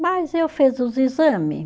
Mas eu fiz os exame.